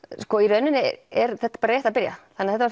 sko í rauninni er þetta bara rétt að byrja þetta